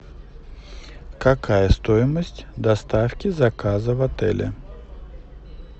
какая стоимость доставки заказа в отеле